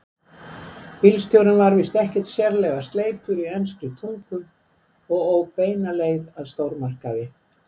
Bílstjórinn var víst ekki sérlega sleipur í enskri tungu og ók beina leið að stórmarkaði.